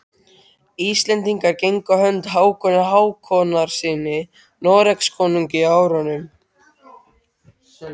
Íslendingar gengu á hönd Hákoni Hákonarsyni Noregskonungi á árunum